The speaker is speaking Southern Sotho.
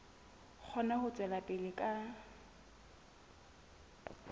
kgone ho tswela pele ka